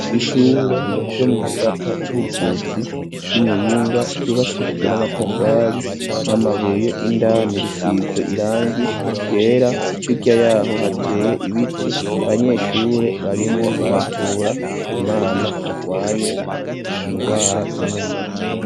Ishure ryo mu gisata c'ubuvuzi ry'Imuyinga ryubakishijwe n'amatafari n'amabuye, indani risize irangi ryera hirya yaho hateye ibiti ,abanyeshure barimwo baravura umwana agwaye ingwara zo mu mutwe.